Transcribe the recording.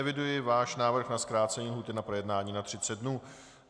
Eviduji váš návrh na zkrácení lhůty na projednání na 30 dnů.